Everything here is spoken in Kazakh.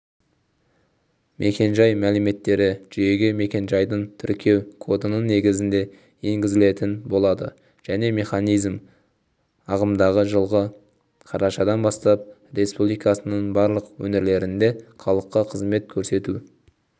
мекенжай мәліметтері жүйеге мекенжайдың тіркеу кодының негізінде енгізілетін болады жаңа механизм ағымдағы жылғы қарашадан бастап республиканың барлық өңірлерінде халыққа қызмет көрсету